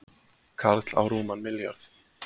Karl á rúman milljarð